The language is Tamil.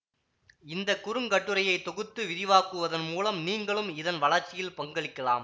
இந்த குறுங்கட்டுரையை தொகுத்து விரிவாக்குவதன் மூலம் நீங்களும் இதன் வளர்ச்சியில் பங்களிக்கலாம்